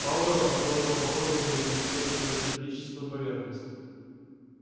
пауэлл осторожно потрогал её блестевшую металлическую поверхность